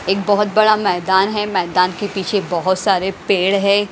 एक बहुत बड़ा मैदान है मैदान के पीछे बहुत सारे पेड़ है।